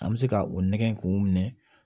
An bɛ se ka o nɛgɛ k'o minɛ